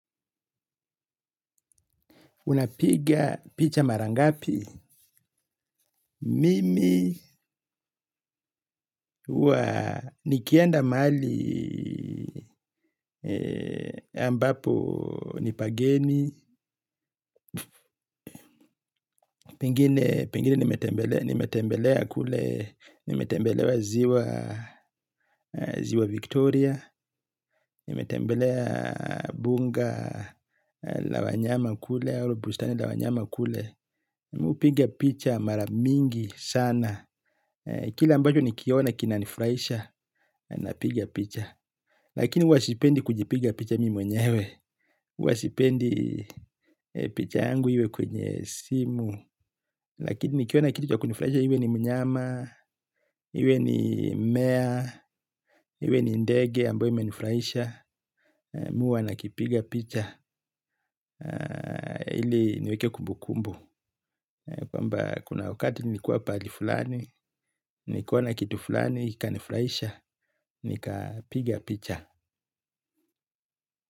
Unapiga picha marangapi. Mimi huwa nikienda mali ambapo nipageni. Pengine nimetembelea kule. Nimetembelewa ziwa Victoria. Nimetembelea bunga la wanyama kule. Oru bustani la wanyama kule. Mupiga picha maramingi sana. Kila ambacho nikiona kinanifraisha. Na piga picha. Lakini uwa sipendi kujipiga picha mimi mwenyewe. Uwa sipendi picha yangu iwe kwenye simu. Lakini nikiona kitu kwa kunifraisha. Iwe ni mnyama. Iwe ni mmea. Iwe ni ndege ambayo imenifraisha. Muwa nakipiga picha. Ili niweke kumbu kumbu. Kwamba kuna wakati nikua pali fulani. Nikiona kitu fulani. Kikanifraisha. Nikapiga picha.